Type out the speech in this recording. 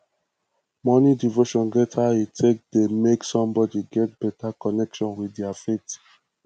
morning devotion get how e take dey make somebody get better connection with their faith